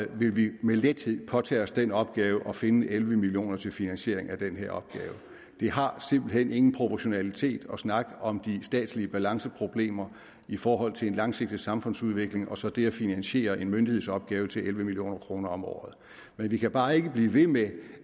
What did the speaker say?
vil vi med lethed påtage os den opgave at finde elleve million kroner til finansiering af den her opgave det har simpelt hen ingen proportionalitet at snakke om de statslige balanceproblemer i forhold til en langsigtet samfundsudvikling og så det at finansiere en myndighedsopgave til elleve million kroner om året men vi kan bare ikke blive ved med